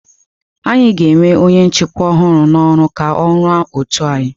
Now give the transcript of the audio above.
Anyị ga-ewe onye nchịkwa ọhụrụ n'oru ka ọ rụọ ótù anyị.